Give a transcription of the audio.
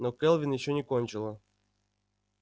но кэлвин ещё не кончила